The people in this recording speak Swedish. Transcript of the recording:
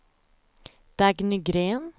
Dagny Gren